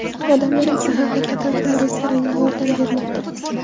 Odamlar esa haqiqatan ham restoranga yordam bermoqda.